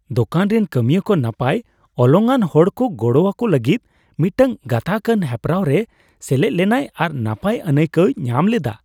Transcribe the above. ᱫᱳᱠᱟᱱ ᱨᱮᱱ ᱠᱟᱹᱢᱤᱭᱟᱹ ᱠᱚ ᱱᱟᱯᱟᱭ ᱚᱞᱚᱝᱼᱟᱱ ᱦᱚᱲᱠᱚ ᱜᱚᱲᱚᱣᱟᱠᱚ ᱞᱟᱹᱜᱤᱫ ᱢᱤᱫᱴᱟᱝ ᱜᱟᱛᱟᱜᱼᱟᱱ ᱦᱮᱯᱨᱟᱣ ᱨᱮ ᱥᱮᱞᱮᱫ ᱞᱮᱱᱟᱭ ᱟᱨ ᱱᱟᱯᱟᱭ ᱟᱹᱱᱟᱹᱭᱠᱟᱹᱣᱮ ᱧᱟᱢ ᱞᱮᱫᱟ ᱾